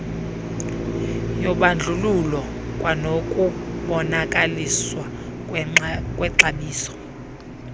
yobandlululo kwanokubonakaliswa kwexabiso